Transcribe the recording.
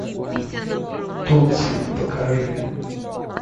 тутси покажи